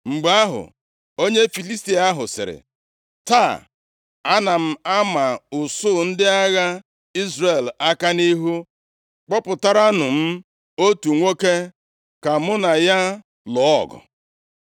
Mgbe ahụ, onye Filistia ahụ sịrị, “Taa, ana m ama usuu ndị agha Izrel aka nʼihu! Kpọpụtaranụ m otu nwoke ka mụ na ya lụọ ọgụ.”